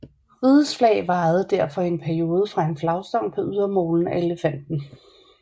Rigets Flag vajede derfor i en periode fra en flagstang på ydermolen af Elefanten